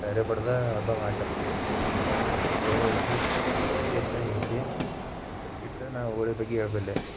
ವಟ್ಟ ಹರೀದ ಹಬ್ಬಾ ಆಚರಿಸ್ತಾರ ಈ ತರಾ ಹೋಳಿ ಐತಿ ವಿಶೇಷವಾಗಿ ಐತಿ ಇಷ್ಟ ಇಷ್ಟ ನಾ ಹೋಳಿ ಬಗ್ಗೆ ಹೇಳಬಲ್ಲೆ.